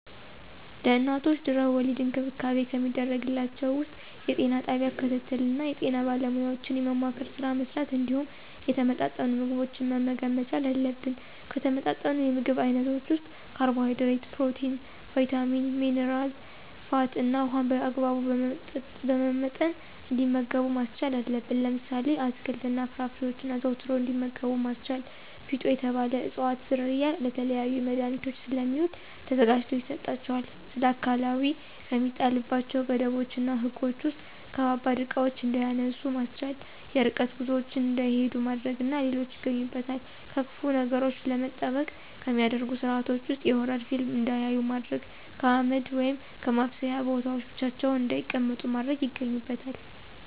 ለእናቶች ድህና-ወሊድ እንክብካቤ ከሚደረግላቸው ውስጥ የጤና ጣቢያ ክትትል እና የጤና ባለሙያዎችን የማማከር ስራ መሥራት እንዲሁም የተመጣጠኑ ምግቦችን መመገብ መቻል አለብን። ከተመጣጠኑ የምግብ አይነቶች ውስጥ ካርቦሀይድሬት፣ ፕሮቲን፣ ቭይታሚን፣ ሜነራ፣ ፋት እና ውሀን በአግባቡ በመመጠን እንዲመገቡ ማስቻል አለብን። ለምሳሌ፦ አትክልት እና ፍራፍሬዎችን አዘውትረው እንዲመገቡ ማስቻል። ፊጦ የተባለ እፅዋት ዝርያ ለተለያዩ መድሀኒቶች ስለሚውል ተዘጋጅቶ ይሰጣቸዋል። ስለአካላዊ ከሚጣልባቸው ገደቦች እና ህጎች ውስጥ ከባባድ እቃዎችን እንዳያነሱ ማስቻል፣ የርቀት ጉዞዎችን እንዳይሂዱ ማድረግ እና ሌሎች ይገኙበታል። ከክፉ ነገሮች ለመጠበቅ ከሚደረጉ ስርአቶች ውስጥ የሆረር ፊልም እንዳያዩ ማድረግ፣ ከአመድ ወይም ከማብሰያ ቦታዎች ብቻቸውን እንዳይቀመጡ ማድረግ ይገኙበታል።